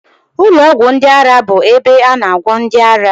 Ụlọ ọgwụ ndị ara bụ ebe a na agwọ ndị ara